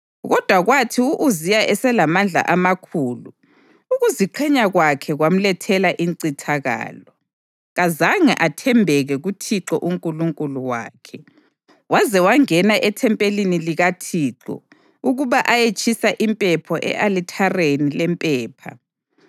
Kodwa kwathi u-Uziya eselamandla amakhulu, ukuziqhenya kwakhe kwamlethela incithakalo. Kazange athembeke kuThixo uNkulunkulu wakhe, waze wangena ethempelini likaThixo, ukuba ayetshisa impepha e-alithareni lempepha.